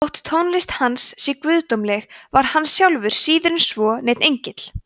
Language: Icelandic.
þótt tónlist hans sé guðdómleg var hann sjálfur síður en svo neinn engill